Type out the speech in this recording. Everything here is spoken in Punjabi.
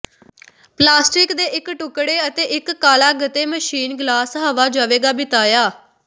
ਪਲਾਸਟਿਕ ਦੇ ਇੱਕ ਟੁਕੜੇ ਅਤੇ ਇੱਕ ਕਾਲਾ ਗੱਤੇ ਮਸ਼ੀਨ ਗਲਾਸ ਹਵਾ ਜਾਵੇਗਾ ਬਿਤਾਇਆ